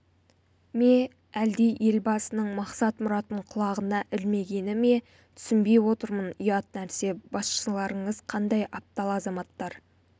ме әлде елбасының мақсат-мұратын құлағына ілмегені ме түсінбей отырмын ұят нәрсе басшыларыңыз қандай аптал азаматтар